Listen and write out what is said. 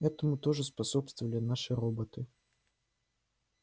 этому тоже способствовали наши роботы